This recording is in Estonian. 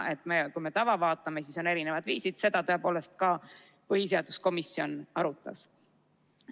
Kui me tava vaatame, siis on erinevad viisid ja seda tõepoolest ka põhiseaduskomisjon arutas.